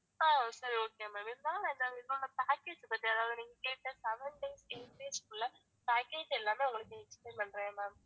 ஆஹ் சரி okay maam இருந்தாலும் package இருக்கு அதாவது நீங்க கேட்ட seven days, eight days உள்ள package எல்லாமே உங்களுக்கு explain பண்றேன் ma'am